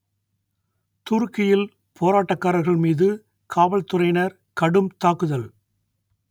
துருக்கியில் போராட்டக்காரர்கள் மீது காவல்துறையினர் கடும் தாக்குதல்